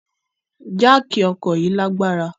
Jáákí ọkọ yi lagbara